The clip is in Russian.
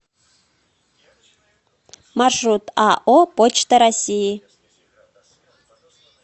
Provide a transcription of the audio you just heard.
маршрут ао почта россии